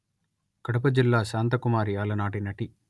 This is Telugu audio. కడప జిల్లాశాంతకుమారి అలనాటి నటి